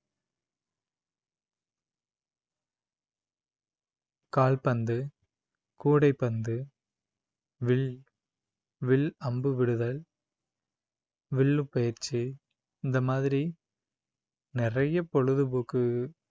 கால்பந்து கூடைப்பந்து வில் வில்அம்பு விடுதல் வில்லு பயிற்சி இந்த மாதிரி நிறைய பொழுதுபோக்கு